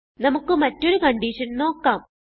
നമുക്ക് മറ്റൊരു കൺഡിഷൻ നോക്കാം